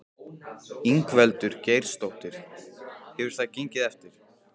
Ingveldur Geirsdóttir: Hefur það gengið eftir?